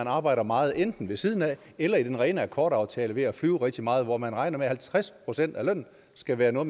arbejder meget enten ved siden af eller i den rene akkordaftale ved at flyve rigtig meget hvor man regner med at halvtreds procent af lønnen skal være noget